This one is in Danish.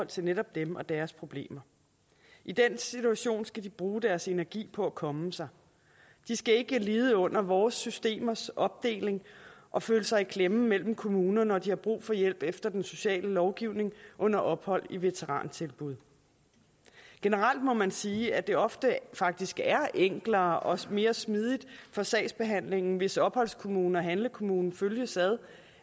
til netop dem og deres problemer i den situation skal de bruge deres energi på at komme sig de skal ikke lide under vores systemers opdeling og føle sig i klemme mellem kommunerne når de har brug for hjælp efter den sociale lovgivning under ophold i veterantilbud generelt må man sige at det ofte faktisk er enklere og mere smidigt for sagsbehandlingen hvis opholdskommunen og handlekommunen følges ad